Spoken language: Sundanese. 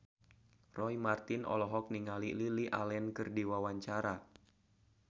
Roy Marten olohok ningali Lily Allen keur diwawancara